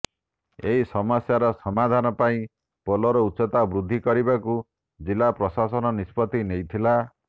ଏହି ସମସ୍ୟାର ସମାଧାନ ପାଇଁ ପୋଲର ଉଚ୍ଚତା ବୃଦ୍ଧି କରିବାକୁ ଜିଲ୍ଲା ପ୍ରଶାସନ ନିଷ୍ପତ୍ତି ନେଇଥିଲା